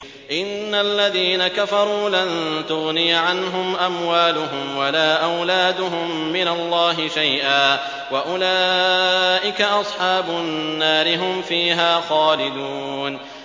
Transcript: إِنَّ الَّذِينَ كَفَرُوا لَن تُغْنِيَ عَنْهُمْ أَمْوَالُهُمْ وَلَا أَوْلَادُهُم مِّنَ اللَّهِ شَيْئًا ۖ وَأُولَٰئِكَ أَصْحَابُ النَّارِ ۚ هُمْ فِيهَا خَالِدُونَ